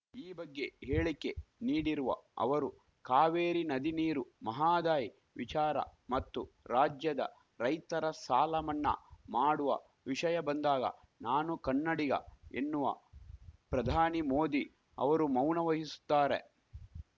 ಈ ಬಗ್ಗೆ ಹೇಳಿಕೆ ನೀಡಿರುವ ಅವರು ಕಾವೇರಿ ನದಿ ನೀರು ಮಹದಾಯಿ ವಿಚಾರ ಮತ್ತು ರಾಜ್ಯದ ರೈತರ ಸಾಲ ಮನ್ನಾ ಮಾಡುವ ವಿಷಯ ಬಂದಾಗ ನಾನು ಕನ್ನಡಿಗ ಎನ್ನುವ ಪ್ರಧಾನಿ ಮೋದಿ ಅವರು ಮೌನ ವಹಿಸುತ್ತಾರೆ